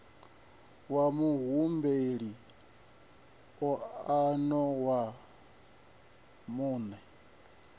wa muhumbeli moano wa muṋe